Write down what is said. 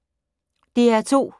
DR2